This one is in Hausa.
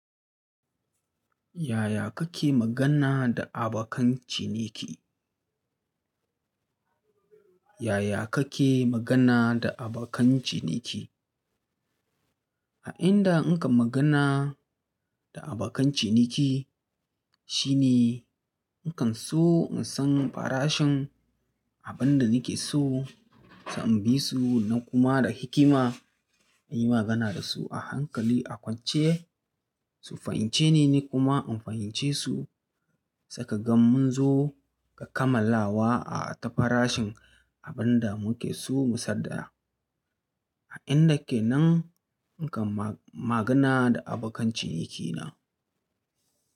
Yaya kake magana da abokan ciniki? Yaya kake magana da abokan ciniki? A inda in kan magana da abokan ciniki shine in kan so in san farashin abun da nake so, sa in bi su na kuma da hikima in yi magana da su a hankali a kwance su fahimce ni, ni kuma in fahimce su. Seka gam mun zo ga kammalawa a ta farashin abun da muke so mu sadaya. A inda ke nan in kan ma-magana da abokan cinikina.